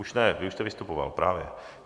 Už ne, vy už jste vystupoval, právě.